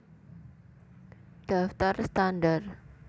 Daftar standar